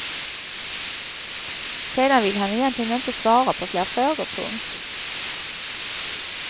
Sedan vill han egentligen inte svara på fler frågor. punkt